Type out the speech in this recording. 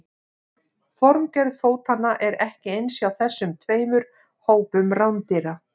Formgerð fótanna er ekki eins hjá þessum tveimur hópum rándýra.